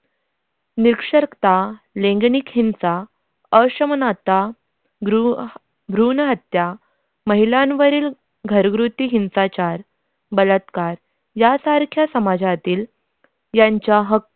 निरक्षरता लिंगलेकी हिंसा असमानता भ्रूण भ्रूण हत्या महिलावरील घरगुती हिंसाचार बलात्कार यासारख्या समाजातील त्यांचा हक्क.